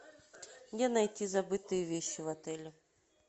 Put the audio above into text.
где найти забытые вещи в отеле